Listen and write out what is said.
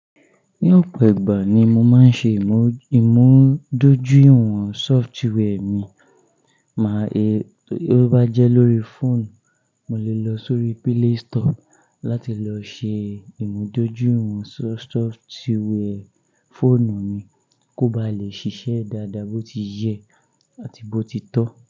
Ní ọ̀pọ̀ ìgbà ni mo máa ń ṣe ìmù-ìmúdójú ìwọ̀n software mi. Máa tí ó bá jẹ́ lórí fóònù, mo lè lọ sórí Play Store láti lọ ṣe ìmúdójìwọ̀n ìwọ̀n software fóònù mi kó ba lè ṣiṣẹ́ dáadáa, bó ti yẹ àti bó ti tọ́.